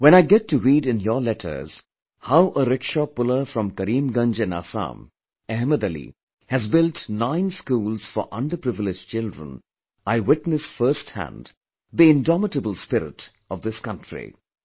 When I get to read in your letters how a rickshaw puller from Karimgunj in Assam, Ahmed Ali, has built nine schools for underprivileged children, I witness firsthand the indomitable willpower this country possesses